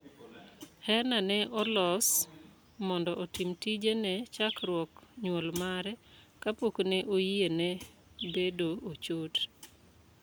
Heena ne olos mondo otim tije ne chackruok nyuol mare ka pok ne oyie ne bedo ochot.